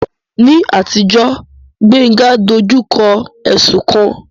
Ní àtijọ́, Gbénga dojú kọ ẹ̀sùn kan